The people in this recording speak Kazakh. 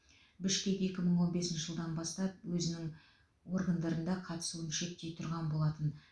бішкек екі мың он бесінші жылдан бастап өзінін органдарында қатысуын шектей тұрған болатын